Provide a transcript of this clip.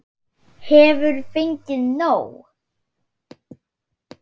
Hefur fengið nóg!